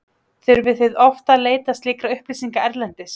Þurfið þið oft að leita slíkra upplýsinga erlendis?